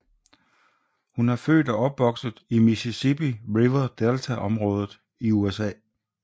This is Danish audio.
Hun er født og opvokset i Mississippi River Delta området i USA